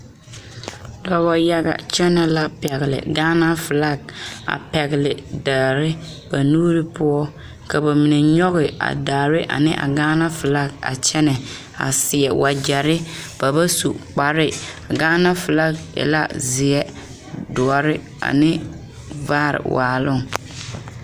Dɔɔ yaga kyɛnɛ la pɛgele gaana felaa a pɛgele daare ba niŋe poɔ ka ba mine kyɔŋ a daare ane a gaana felaa a kyɛnɛ a a seɛ wagyere ba wa su kpare a gaana felaa e la zeɛ doɔre ane vaare waaloŋ